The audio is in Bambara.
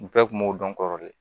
U bɛɛ kun b'o dɔn kɔrɔlen